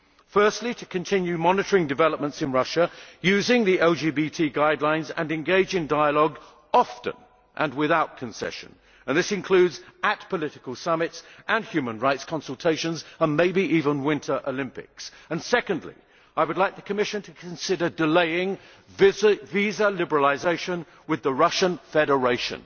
Firstly, to continue monitoring developments in Russia using the LGBT guidelines and engage in dialogue often and without concession and this includes at political summits and human rights consultations and maybe even Winter Olympics. Secondly, I would like the Commission to consider delaying visa liberalisation with the Russian Federation.